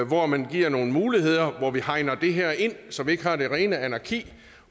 hvor man giver nogle muligheder og hegner det her ind så vi ikke har det rene anarki